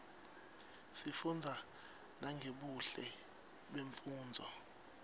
sifunza nangebuhle bemnfundzo